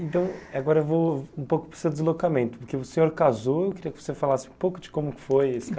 Então, agora vou um pouco para o seu deslocamento, porque o senhor casou, eu queria que você falasse um pouco de como que foi esse ca